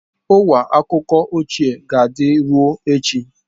Ọwa akụkọ ochie ka dị ruo echi.